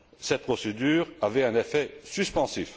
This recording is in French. Cette procédure avait un effet suspensif.